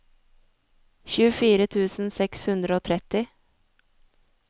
tjuefire tusen seks hundre og tretti